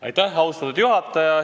Aitäh, austatud juhataja!